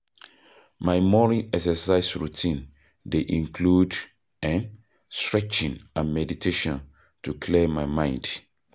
My morning exercise routine dey include um stretching and meditation to clear my mind.